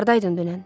Hardaydın dünən?